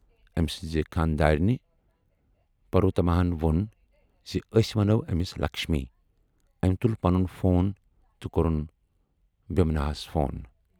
أمۍ سٕنٛزِ خانٛدارِنہِ، پروَتَماہن ووٚن زِ، "أسۍ وَنو أمِس لَکشمی"۔ أمۍ تُل پنُن فون تہٕ کوٚرُن بِھماناہس فون۔